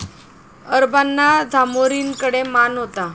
अरबांना झामोरीनकडे मान होता.